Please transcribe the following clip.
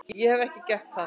Ekki hefi ég gert það.